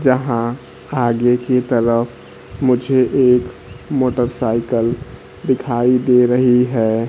जहां आगे की तरफ मुझे एक मोटरसाइकल दिखाई दे रही है।